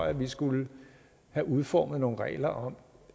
at vi skulle have udformet nogle regler om